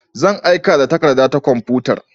Zan aika da takarda ta kwamfutar.